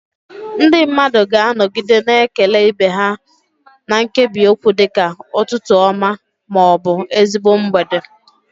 Ndị mmadụ ga-anọgide na-ekele ibe ha na nkebiokwu dị ka "Ụtụtụ ọma" ma ọ bụ "Ezigbo mgbede."